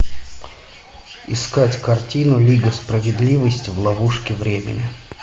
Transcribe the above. искать картину лига справедливости в ловушке времени